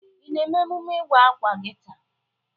Ị na-eme emume ịwa akwa gi taa?